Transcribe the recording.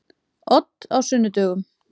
Odd á sunnudögum.